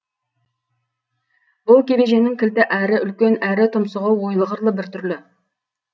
бұл кебеженің кілті әрі үлкен әрі тұмсығы ойлы қырлы бір түрлі